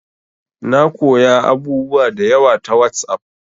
Na koya abubuwa da yawa ta WhatsApp